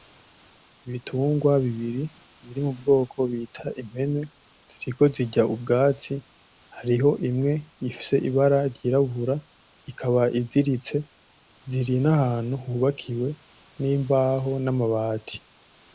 Ibitungwa bibiri biri mu bwoko bita impene , ziko zirya ubwatsi hariho imwe ifise ibara ryirabura ikaba iziritse, ziri n'ahantu hubakiwe n'imbaho n'amabati.